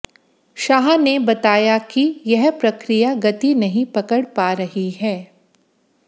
शाह ने बताया कि यह प्रक्रिया गति नहीं पकड़ पा रही है